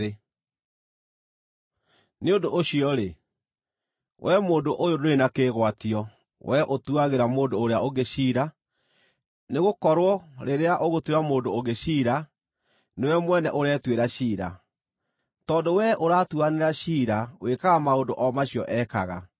Nĩ ũndũ ũcio-rĩ, wee mũndũ ũyũ ndũrĩ na kĩĩgwatio, wee ũtuagĩra mũndũ ũrĩa ũngĩ ciira, nĩgũkorwo rĩrĩa ũgũtuĩra mũndũ ũngĩ ciira, nĩwe mwene ũretuĩra ciira, tondũ wee ũratuanĩra ciira wĩkaga maũndũ o macio ekaga.